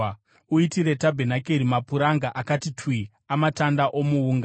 “Uitire tabhenakeri mapuranga akati twi amatanda omuunga.